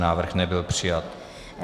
Návrh nebyl přijat.